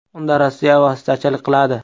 Unda Rossiya vositachilik qiladi.